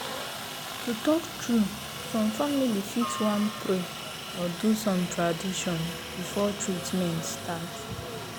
to talk true some family fit wan pray or do some tradition before treatment start.